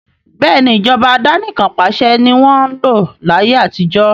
Bẹ́ẹ̀ni, Ìjọba àdánikan pàṣẹ ni wọn ń lò láyé àtijó